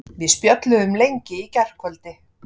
Við spjölluðum lengi í gærkvöldi.